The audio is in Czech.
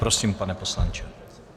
Prosím, pane poslanče.